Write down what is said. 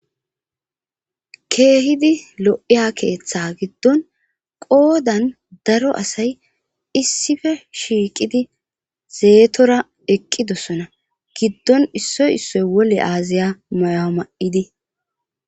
keehidi lo7iya keeththa giddon qoodan daro asay issife shiiqidi zeetora eqqidossona giddon issoy issoy wole aaziya mayo ma7idi